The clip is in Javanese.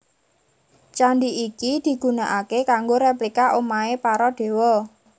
Candi iki digunaaké kanggo replika omahé para Dewa